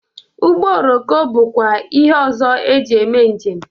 Ụgbọ oroko bụkwa ihe ọzọ ejị eme njem.